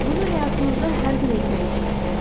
Bunu həyatınızda hər gün etmək istəyirsiz.